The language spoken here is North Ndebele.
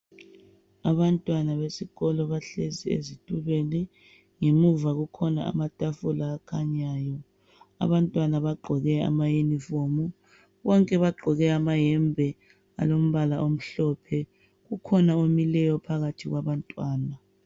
Abantwana besikolo bahlezi ezitulweni ngemuva kukhona amatafula akhanyayo. Abantwana bagqoke amayunifomu. Bonke bagqoke amahembe alombala omhlophe. Kukhona omileyo phakathi kwabantwana.